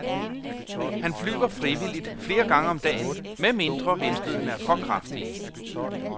Han flyver frivilligt flere gange om dagen, med mindre vindstødene er for kraftige.